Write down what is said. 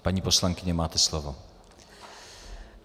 Paní poslankyně, máte slovo.